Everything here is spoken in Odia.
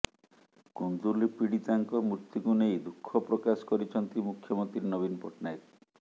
କୁନ୍ଦୁଲି ପୀଡ଼ିତାଙ୍କ ମୃତ୍ୟୁକୁ ନେଇ ଦୁଃଖ ପ୍ରକାଶ କରିଛନ୍ତି ମୁଖ୍ୟମନ୍ତ୍ରୀ ନବୀନ ପଟ୍ଟନାୟକ